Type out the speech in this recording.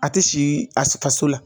A ti sigi a faso la.